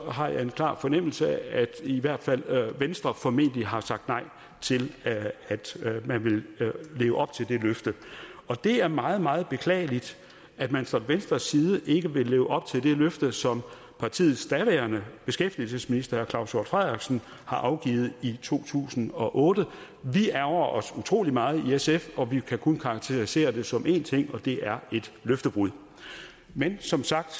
har jeg en klar fornemmelse af at i hvert fald venstre formentlig har sagt nej til at man vil leve op til det løfte og det er meget meget beklageligt at man fra venstres side ikke vil leve op til det løfte som partiets daværende beskæftigelsesminister herre claus hjort frederiksen afgav i to tusind og otte vi ærgrer os utrolig meget i sf vi kan kun karakterisere det som én ting og det er løftebrud men som sagt